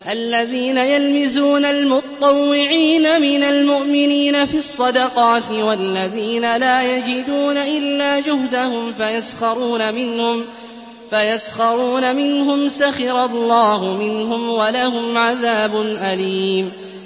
الَّذِينَ يَلْمِزُونَ الْمُطَّوِّعِينَ مِنَ الْمُؤْمِنِينَ فِي الصَّدَقَاتِ وَالَّذِينَ لَا يَجِدُونَ إِلَّا جُهْدَهُمْ فَيَسْخَرُونَ مِنْهُمْ ۙ سَخِرَ اللَّهُ مِنْهُمْ وَلَهُمْ عَذَابٌ أَلِيمٌ